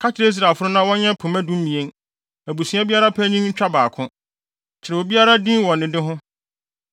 “Ka kyerɛ Israelfo no na wɔnyɛ pema dumien, abusua biara panyin ntwa baako. Kyerɛw obiara din wɔ ne de ho.